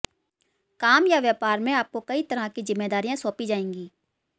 काम या व्यापार में आपको कई तरह की जिम्मेदारियां सौंपी जाएंगी